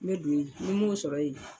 N be don yen ni m'o sɔrɔ yen